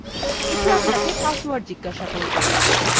এটি আপানকে পাসওয়ার্ড জিজ্ঞাসা করবে